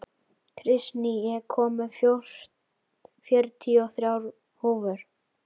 Kristný, ég kom með fjörutíu og þrjár húfur!